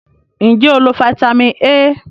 Nje o lo Fítàmì A?